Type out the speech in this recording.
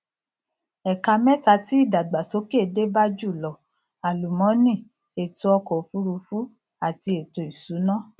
ẹka mẹta tí ìdàgbàsókè dé bá jùlọ àlùmọnì ètò ọkọ òfuurufú àti ètò ìsúná